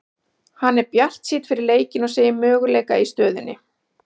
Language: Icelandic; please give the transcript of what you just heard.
Hann er bjartsýnn fyrir leikinn og segir möguleika í stöðunni.